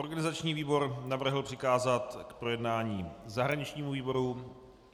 Organizační výbor navrhl přikázat k projednání zahraničnímu výboru.